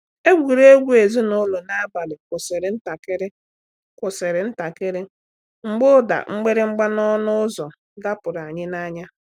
Egwuregwu ezinụlọ n’abalị kwụsịrị ntakịrị kwụsịrị ntakịrị mgbe ụda mgbịrịgba n’ọnụ ụzọ dọpụtara anyị n’anya.